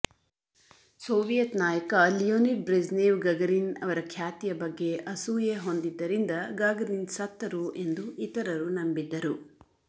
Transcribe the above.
Soviet ನಾಯಕ Leonid Brezhnev Gagarin ಅವರ ಖ್ಯಾತಿಯ ಬಗ್ಗೆ ಅಸೂಯೆ ಹೊಂದಿದ್ದರಿಂದ ಗಾಗರಿನ್ ಸತ್ತರು ಎಂದು ಇತರರು ನಂಬಿದ್ದರು